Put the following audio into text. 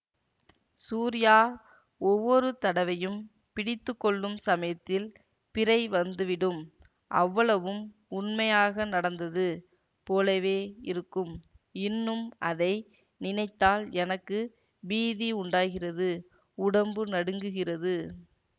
சூரியா ஒவ்வொரு தடவையும் பிடித்துக்கொள்ளும் சமயத்தில் பிரை வந்துவிடும் அவ்வளவும் உண்மையாக நடந்தது போலவே இருக்கும் இன்னும் அதை நினைத்தால் எனக்கு பீதி உண்டாகிறது உடம்பு நடுங்குகிறது